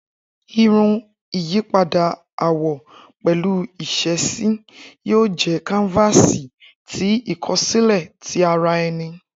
Irun, iyipada awọ pẹlu iṣesi, yoo jẹ kanfasi ti ikosile ti ara ẹni.